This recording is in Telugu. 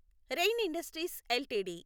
rain Industries LTD